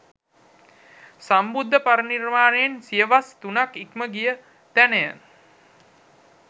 සම්බුද්ධ පරිනිර්වාණයෙන් සියවස් තුනක් ඉක්ම ගිය තැනය.